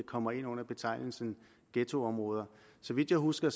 kommer ind under betegnelsen ghettoområder så vidt jeg husker